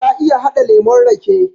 Ta iya haɗa lemon rake